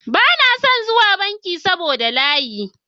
Bana son zuwa banki saboda layi.